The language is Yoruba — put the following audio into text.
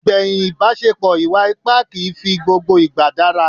Ìgbẹ̀yìn ìbaṣepò ìwà ipá kìí fi gbogbo ìgbà dára.